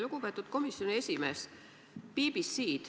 Lugupeetud komisjoni esimees!